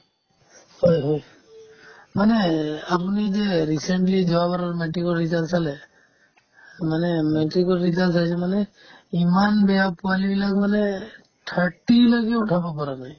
হয় হয় মানে এই আপুনি যে recently যোৱাবাৰৰ matrix ৰ result চালে মানে matrix ৰ result চাইছে মানে ইমান বেয়া পোৱালিবিলাক মানে thirty লৈকেও উঠাব পৰা নাই